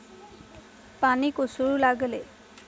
पाणी कोसळू लागले.